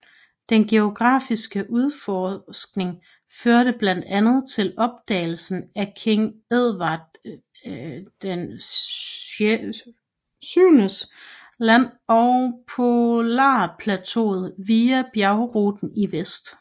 Den geografiske udforskning førte blandt andet til opdagelsen af King Edward VII Land og polarplateauet via bjergruten i vest